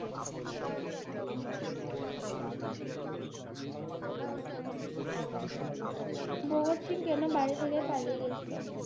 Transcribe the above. ভগৎ সিং কেন বাড়ি থেকে পালিয়ে গেছিলো?